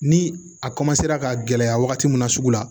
Ni a ka gɛlɛya wagati min na sugu la